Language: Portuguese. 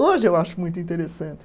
Hoje eu acho muito interessante.